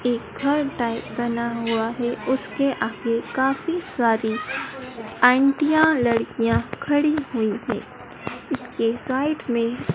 एक घर टाइप बना हुआ है। उसके आगे काफी सारी आंटियां लड़कियां खड़ी हुई है। इसके साइड में--